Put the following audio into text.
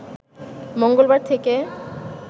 মঙ্গলবার থেকে